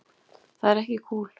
Það er ekki kúl.